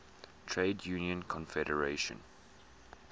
trade union confederation